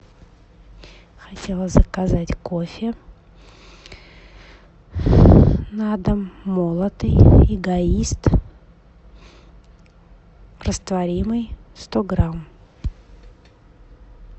хотела заказать кофе на дом молотый эгоист растворимый сто грамм